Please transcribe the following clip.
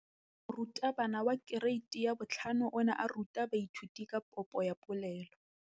Moratabana wa kereiti ya 5 o ne a ruta baithuti ka popô ya polelô.